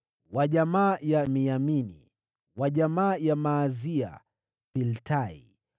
wa jamaa ya Abiya, Zikri; wa jamaa ya Miniamini na ya Maazia, Piltai;